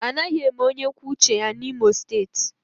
Anaghị eme onye kwuo uche ya N'Imo steeti